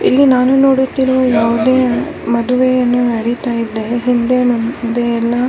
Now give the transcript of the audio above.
ಈ ಚಿತ್ರ ನೋಡುವುದಾದರೆ ಇಲ್ಲಿ ಒಂದು ವಿವಾಹ ನಡೀತಾಇದೆ ಇಲ್ಲಿ ತುಂಬಾ ತರದ ಹೂವಿನಿಂದ ಅಲಂಕಾರಿಸಿದ್ದಾರೆ.